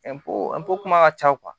kuma ka ca